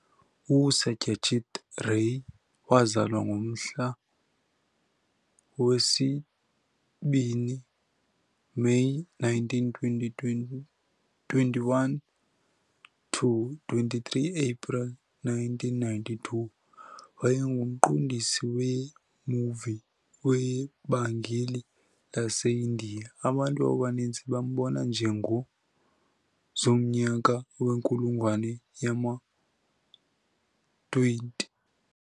USatyajit Ray wazalwa ngomhla wesi-2 May 1921-23 April 1992, wayengumqondisi wee-movie weBenngali laseIndiya. Abantu abaninzi bambona njengo zomnyaka wenkulungwane yama-20 .